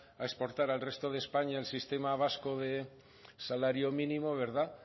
a exportar al resto de españa el sistema vasco de salario mínimo